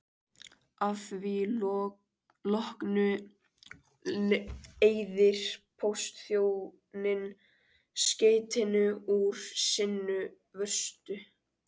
Að því loknu eyðir póstþjónninn skeytinu úr sinni vörslu.